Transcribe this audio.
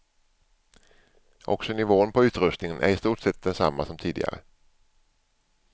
Också nivån på utrustningen är i stort sett densamma som tidigare.